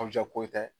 ko tɛ